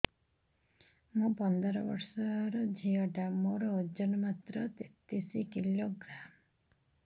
ମୁ ପନ୍ଦର ବର୍ଷ ର ଝିଅ ଟା ମୋର ଓଜନ ମାତ୍ର ତେତିଶ କିଲୋଗ୍ରାମ